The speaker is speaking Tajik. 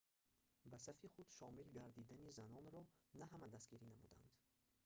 ба сафи худ шомил гардидани занонро на ҳама дастгирӣ намуданд